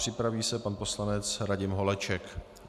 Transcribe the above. Připraví se pan poslanec Radim Holeček.